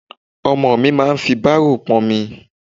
Ọmọkùnrin mi máa fi bárò pọ́nmi.